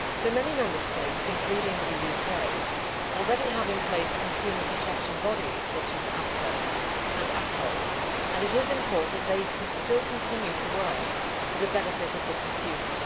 Many Member States, including the UK, already have in place consumer protection bodies such as ABTA and ATOL, and it is important that they can still continue to work for the benefit of the consumer.